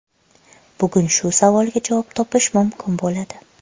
Bugun shu savolga javob topish mumkin bo‘ladi.